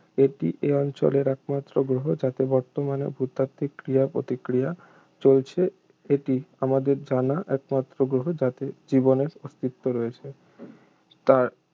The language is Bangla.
এটিই এ অঞ্চলের একমাত্র গ্রহ যাতে বর্তমানেও ভূতাত্ত্বিক ক্রিয়া-প্রতিক্রিয়া চলছে এটি আমাদের জানা একমাত্র গ্রহ যাতে জীবনের অস্তিত্ব রয়েছে তার